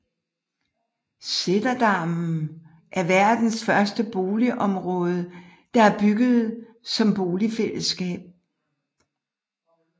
Sættedammen er verdens første boligområde der er bygget som bofællesskab